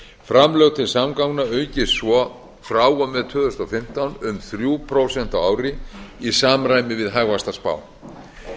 framlög til samgangna aukist svo frá og með tvö þúsund og fimmtán um þrjú prósent á ári í samræmi við hagvaxtarspá